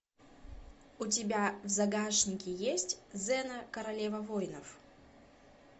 у тебя в загашнике есть зена королева воинов